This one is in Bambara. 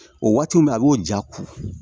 O waati min bɛ yen a b'o ja ko